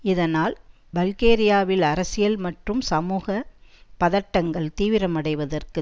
இதனால் பல்கேரியாவில் அரசியல் மற்றும் சமூக பதட்டங்கள் தீவிரமடைவதற்கு